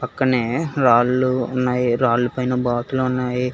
అక్కడినే రాళ్లు ఉన్నాయి రాలపై బాతులు ఉన్నాయి.